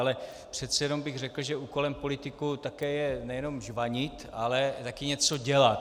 Ale přece jen bych řekl, že úkolem politiků také je nejenom žvanit, ale taky něco dělat.